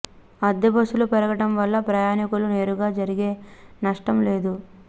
అద్దె బస్సులు పెరగటం వల్ల ప్రయాణికులకు నేరుగా జరిగే నష్టం లేదు